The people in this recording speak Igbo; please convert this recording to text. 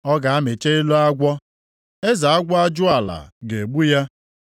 Ọ ga-amịcha elo agwọ, eze agwọ ajụala ga-egbu ya.